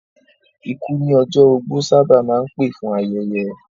Ikú ní ọjọ́ ogbó sábà máa ń pè fún ayẹyẹ